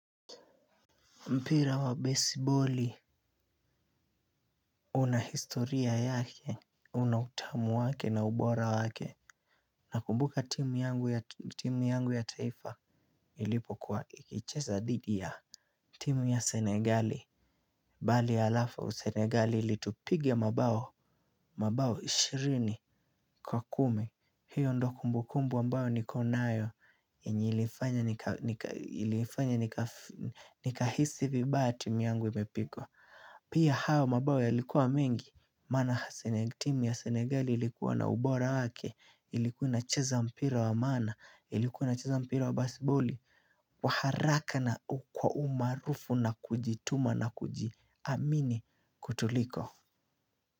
Mpira wa baseball una historia yake una utamu wake na ubora wake. Nakumbuka timu yangu ya taifa ilipokuwa ikicheza dhidi ya timu ya Senegal Ball alafu Senegali ilitupiga mabao, mabao ishirini kwa kumi. Hiyo ndo kumbukumbu ambayo niko nayo yenye ilifanya nikahisi vibaya timu yangu imepigwa. Pia hayo mabao yalikuwa mengi, maana hasa ile timy ya senegali ilikuwa na ubora wake, ilikuwa inacheza mpira wa maana, ilikuwa jnacheza mpira wa baseball kwa haraka na kwa umaarufu na kujituma na kujiamini kutuliko.